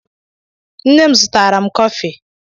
Nne'm zụtara 'm kofi.